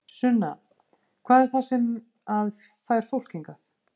Sunna: Hvað er það sem að fær fólk hingað?